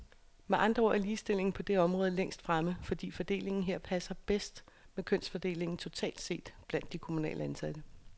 Med andre ord er ligestillingen på det område længst fremme, fordi fordelingen her passer bedst med kønsfordelingen totalt set blandt de kommunalt ansatte.